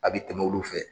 A bi tɛmɛ olu fɛ